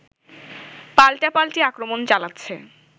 পাল্টাপাল্টি আক্রমণ চালাচ্ছে